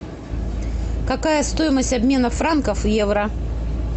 какая стоимость обмена франков в евро